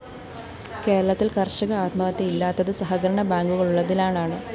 കേരളത്തില്‍ കര്‍ഷക ആത്മഹത്യ ഇല്ലാത്തത് സഹകരണ ബാങ്കുകളുള്ളതിനാലാണ്